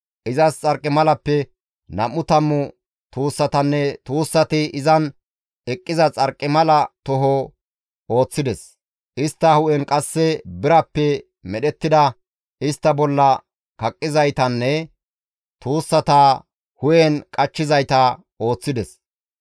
Izas xarqimalappe nam7u tammu tuussatanne tuussati izan eqqiza xarqimala toho ooththides; istta hu7en qasse birappe medhettida istta bolla kaqqizaytanne tuussata hu7en qachchizayta ooththides.